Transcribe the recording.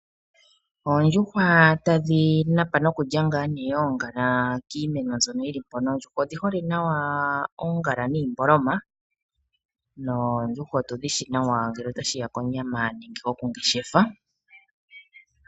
Oondjuhwa tadhi napa nokulya oongala kiimeno. Oondjuhwa odhi hole nawa oongala niimboloma, odhi shiwike nawa ngele ota shiya konyama nenge kokungeshefa.